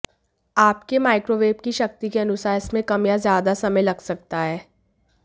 आपके माइक्रोवेव की शक्ति के अनुसार इसमें कम या ज्यादा समय लग सकता है